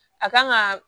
A kan ga